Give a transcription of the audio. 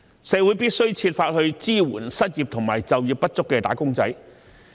社會必須設法支援失業及就業不足的"打工仔"。